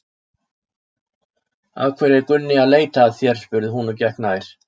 Af hverju er Gunni að leita að þér? spurði hún og gekk nær.